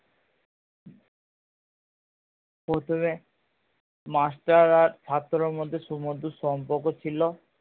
প্রথমে মাস্টার আর ছাত্রের মধ্যে সুমধুর সম্পর্ক ছিলো